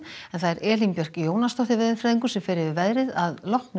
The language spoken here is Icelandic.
Elín Björk Jónasdóttir veðurfræðingur fer yfir veðrið að loknum